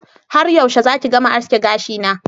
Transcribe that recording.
Har yaushe zaki gama aske gashina